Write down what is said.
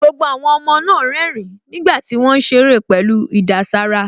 Gbogbo àwọn ọmọ náà ń rẹ́rìn-ín nígbà tí wọ́n ń ṣeré pẹ̀lú ìdàsára